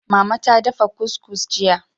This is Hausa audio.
Mama ta dafa cuscus jiya.